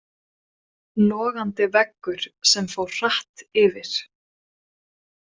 Logandi veggur sem fór hratt yfir.